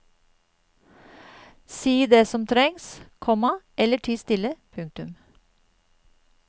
Si det som trengs, komma eller ti stille. punktum